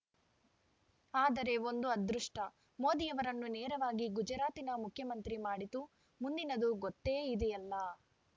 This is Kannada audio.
ಆದರೆ ಒಂದು ಅದೃಷ್ಟ ಮೋದಿಯವರನ್ನು ನೇರವಾಗಿ ಗುಜರಾತಿನ ಮುಖ್ಯಮಂತ್ರಿ ಮಾಡಿತು ಮುಂದಿನದು ಗೊತ್ತೇ ಇದೆಯಲ್ಲ